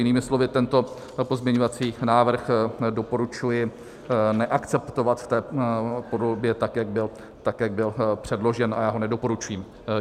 Jinými slovy tento pozměňovací návrh doporučuji neakceptovat v té podobě, tak jak byl předložen, a já ho nedoporučuji.